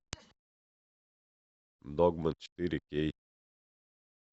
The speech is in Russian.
догма четыре кей